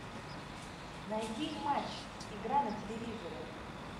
найди матч игра на телевизоре